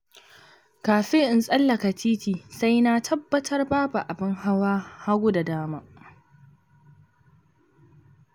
Kafin in tsallaka titi sai na tabbatar babu abin hawa hagu da dama.